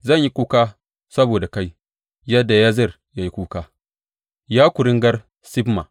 Zan yi kuka saboda kai, yadda Yazer ya yi kuka Ya kuringar Sibma.